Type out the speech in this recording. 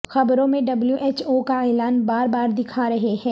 خبروں میں W H O کا اعلان بار بار دکھا رہے ہیں